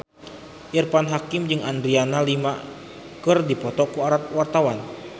Irfan Hakim jeung Adriana Lima keur dipoto ku wartawan